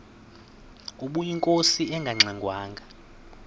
ubeyinkosi engangxe ngwanga